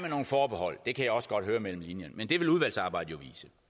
nogle forbehold det kan jeg også godt høre mellem linjerne men det vil udvalgsarbejdet